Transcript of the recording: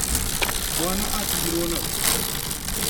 Mwana atigirwo na ũũ?